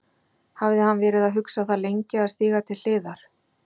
Hafði hann verið að hugsa það lengi að stíga til hliðar?